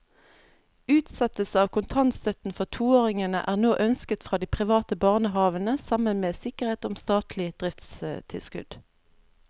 Utsettelse av kontantstøtten for toåringene er nå ønsket fra de private barnehavene sammen med sikkerhet om statlig driftstilskudd.